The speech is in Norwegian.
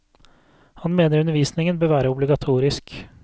Han mener undervisningen bør være obligatorisk.